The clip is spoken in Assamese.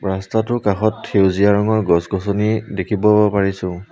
ৰাস্তাটোৰ কাষত সেউজীয়া ৰঙৰ গছ-গছনি দেখিব পাৰিছো।